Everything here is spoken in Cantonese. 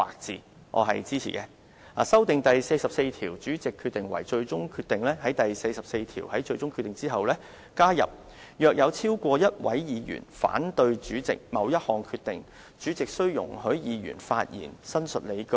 其次，修訂第44條，以便在第44條所訂"最終決定。"之後加入"若有超過一位議員反對主席某一項決定，主席須容許議員發言申述理據。